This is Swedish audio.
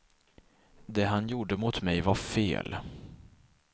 Det han gjorde mot mig var fel.